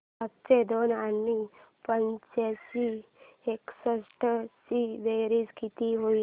सातशे दोन आणि पाचशे एकसष्ट ची बेरीज किती होईल